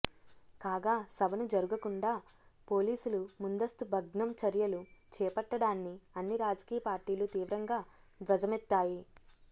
కాగా సభను జరుగకుండా పోలీసులు ముందస్తు భగ్నం చర్యలు చేపట్టడాన్ని అన్ని రాజకీయ పార్టీలు తీవ్రంగా ధ్వజమెత్తాయి